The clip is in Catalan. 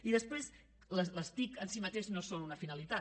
i després les tic en si mateixes no són una finalitat